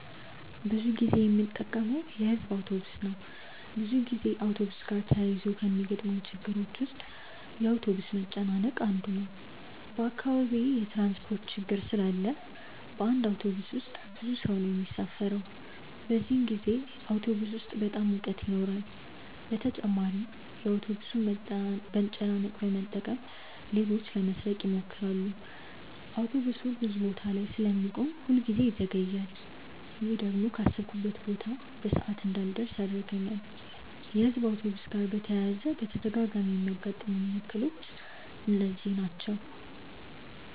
ብዙ ጊዜ የምጠቀመው የሕዝብ አውቶብስ ነው። ብዙ ጊዜ አውቶብስ ጋር ተያይዞ ከሚገጥሙኝ ችግሮች ውስጥ የአውቶብስ መጨናነቅ አንዱ ነው። በአካባቢዬ የትራንስፖርት ችግር ስላለ በአንድ አውቶብስ ውስጥ ብዙ ሰው ነው የሚሳፈረው። በዚህን ጊዜ አውቶብስ ውስጥ በጣም ሙቀት ይኖራል በተጨማሪም የአውቶብሱን መጨናነቅ በመጠቀም ሌቦች ለመስረቅ ይሞክራሉ። አውቶብሱ ብዙ ቦታ ላይ ስለሚቆም ሁል ጊዜ ይዘገያል። ይሄ ደግሞ ካሰብኩበት ቦታ በሰዓት እንዳልደርስ ያደርገኛል። የሕዝብ አውቶብስ ጋር በተያያዘ በተደጋጋሚ የሚያጋጥሙኝ እክሎች እነዚህ ናቸው።